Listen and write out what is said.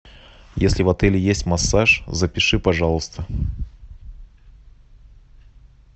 если в отеле есть массаж запиши пожалуйста